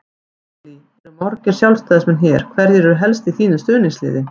Lillý: Eru margir Sjálfstæðismenn hér, hverjir eru helst í þínu stuðningsliði?